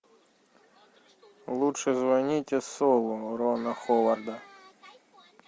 лучше звоните солу рона ховарда